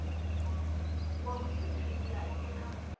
wa vhutshutshisi ha nnyi na